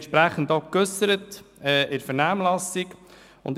Wir haben uns in der Vernehmlassung entsprechend geäussert.